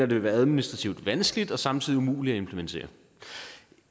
vil være administrativt vanskeligt og samtidig umuligt at implementere